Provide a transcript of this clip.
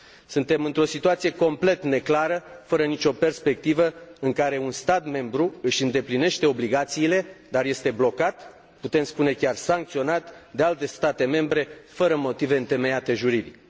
Suntem într o situație complet neclară, fără nicio perspectivă, în care un stat membru își îndeplinește obligațiile, dar este blocat, puem spune chiar sancționat, de alte state membre, fără motive întemeiate juridic.